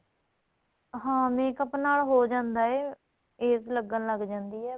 ਹਾਂ makeup ਨਾਲ ਹੋ ਜਾਂਦਾ ਏ age ਲੱਗਣ ਲੱਗ ਜਾਂਦੀ ਏ